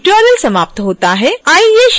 आइए सारांशित करते हैं